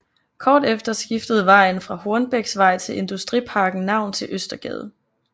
Kort efter skiftede vejen fra Hornbechsvej til Industriparken navn til Østergade